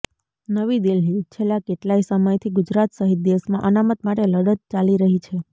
નવી દિલ્હીઃ છેલ્લા કેટલાય સમયથી ગુજરાત સહિત દેશમાં અનામત માટે લડત ચાલી રહી છે